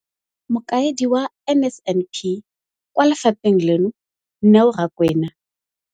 Mokaedi wa NSNP kwa lefapheng leno, Neo Rakwena.